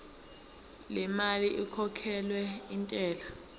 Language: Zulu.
lemali ekhokhelwa intela